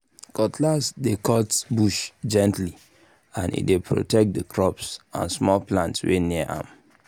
cutlass dey cut bush gently and e dey protect the crops and small plants wey near am